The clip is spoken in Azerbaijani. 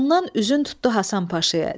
Ondan üzün tutdu Həsən Paşaya.